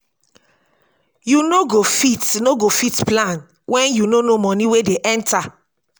you no go fit no go fit plan when you no know money wey dey enter